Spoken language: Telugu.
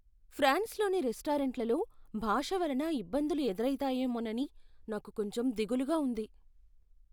ఫ్రాన్స్లోని రెస్టారెంట్లలో భాష వలన ఇబ్బందులు ఎదురైతాయేమోనని నాకు కొంచెం దిగులుగా ఉంది.